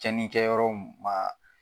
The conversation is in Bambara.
Cɛnnikɛ yɔrɔ mun ma